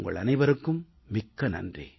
உங்கள் அனைவருக்கும் மிக்க நன்றி